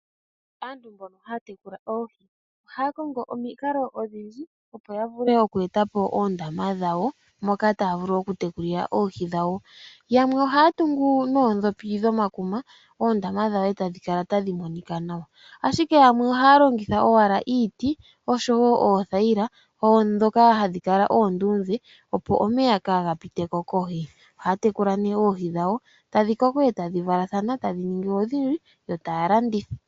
Aantu mbono haya tekula oohi, ohaya kongo omikalo odhindji opo yavule oku etapo oondama dhawo moka taya vulu okutekulila oohi dhawo. Yamwe ohaya tungu noodhopi dhomakuma oondama dhawo etadhi kala tadhi monika nawa, ashike yamwe ohaya longitha owala iiti osho wo oothayila dhoka hadhi kala oonduudhe opo omeya kaga pitiko kohi. Ohaya tekula nduno oohi dhawo, tadhi koko, etadhi valathana tadhi ningi odhindji, yo taya landitha.